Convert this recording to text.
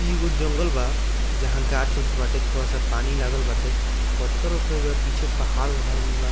इ एगो जंगल बा जहाँ गाछ-उछ बाटे थोड़ा सा पानी लागल बाटे पत्थर-उत्थर बा पीछे पहाड़-उहाड़ भी बा।